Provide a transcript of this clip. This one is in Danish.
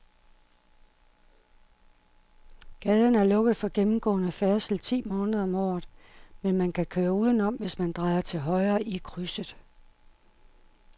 Gaden er lukket for gennemgående færdsel ti måneder om året, men man kan køre udenom, hvis man drejer til højre i krydset.